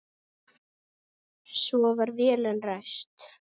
Svo var vélin ræst.